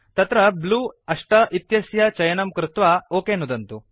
तत्र ब्लू 8 इत्यस्य चयनं कृत्वा ओक नुदन्तु